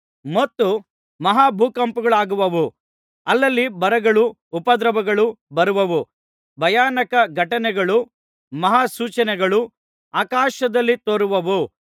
ಮತ್ತು ಮಹಾಭೂಕಂಪಗಳಾಗುವವು ಅಲ್ಲಲ್ಲಿ ಬರಗಳೂ ಉಪದ್ರವಗಳೂ ಬರುವವು ಭಯಾನಕ ಘಟನೆಗಳೂ ಮಹಾ ಸೂಚನೆಗಳೂ ಆಕಾಶದಲ್ಲಿ ತೋರುವವು